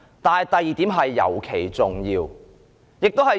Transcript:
但是，第二點尤其重要。